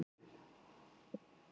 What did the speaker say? Hann var einn í húsinu.